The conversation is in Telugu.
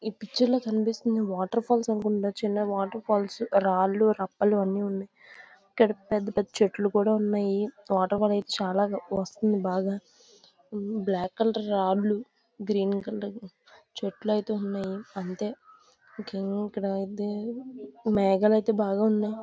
ఈ పిక్చర్ లో కనిపిస్తున్న వాటర్ ఫాల్స్ అనుకుంటా చిన్న వాటర్ ఫాల్స్ రాళ్లు రప్పలు అన్నీ ఉన్నాయి ఇక్కడ పెద్ద పెద్ద చెట్లు కూడా ఉన్నాయి వాటర్ ఫాల్ అయితే చాలాగా వస్తుంది బాగా ఉమ్ బ్లాక్ కలర్ రాళ్లు గ్రీన్ కలర్ చెట్లు అయితే ఉన్నాయి అంతే ఇంకేం ఇక్కడ మేఘాలు అయితే బాగున్నాయి.